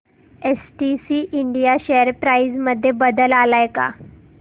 STC India share price मध्ये बदल आलाय का